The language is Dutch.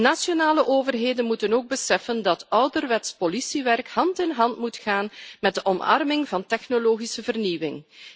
Nationale overheden moeten ook beseffen dat ouderwets politiewerk hand in hand moet gaan met de omarming van technologische vernieuwing.